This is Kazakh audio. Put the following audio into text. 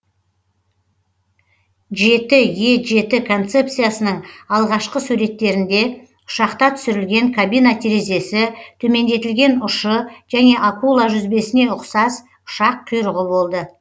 жеті е жеті концепциясының алғашқы суреттерінде ұшақта түсірілген кабина терезесі төмендетілген ұшы және акула жүзбесіне ұқсас ұшақ құйрығы болды